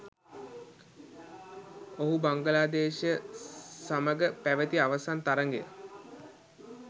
ඔහු බංගලාදේශය සමග පැවති අවසන් තරගය